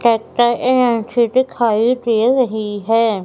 Tractor NCB दिखाइ दे रही है।